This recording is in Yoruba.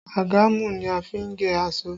Àgàmú ni a fi n gé aṣọ